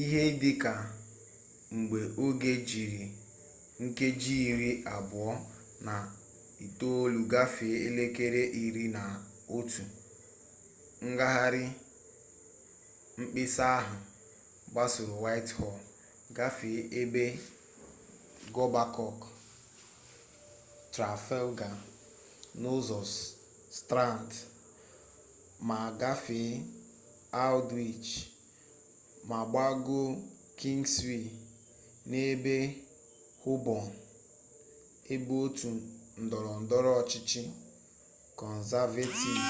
ihe dị ka mgbe oge jiri nkeji iri abụọ na itolu gafee elekere iri na otu ngahari mkpesa ahụ gbagoro whitehall gafee ebe ọgbakọ trafalgar n'ụzọ strand ma a gafee aldwych ma gbagoo kingswee n'ebe hoborn ebe otu ndọrọ ndọrọ ọchịchị kọnzavetiv